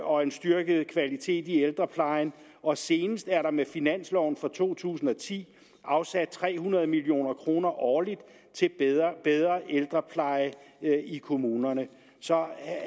og en styrket kvalitet i ældreplejen og senest er der med finansloven for to tusind og ti afsat tre hundrede million kroner årligt til bedre ældrepleje i kommunerne så jeg